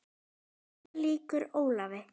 Hér lýkur Ólafi.